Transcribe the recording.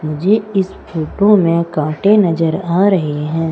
मुझे इस फोटो में कांटे नजर आ रहे हैं।